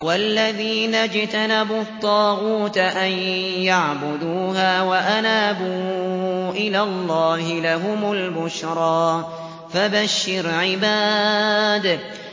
وَالَّذِينَ اجْتَنَبُوا الطَّاغُوتَ أَن يَعْبُدُوهَا وَأَنَابُوا إِلَى اللَّهِ لَهُمُ الْبُشْرَىٰ ۚ فَبَشِّرْ عِبَادِ